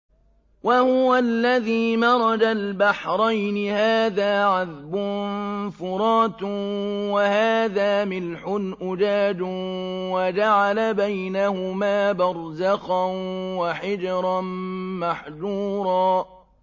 ۞ وَهُوَ الَّذِي مَرَجَ الْبَحْرَيْنِ هَٰذَا عَذْبٌ فُرَاتٌ وَهَٰذَا مِلْحٌ أُجَاجٌ وَجَعَلَ بَيْنَهُمَا بَرْزَخًا وَحِجْرًا مَّحْجُورًا